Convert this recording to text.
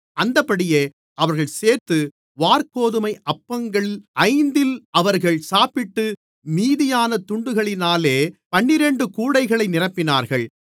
அந்தப்படியே அவர்கள் சேர்த்து வாற்கோதுமை அப்பங்கள் ஐந்தில் அவர்கள் சாப்பிட்டு மீதியான துண்டுகளினாலே பன்னிரண்டு கூடைகளை நிரப்பினார்கள்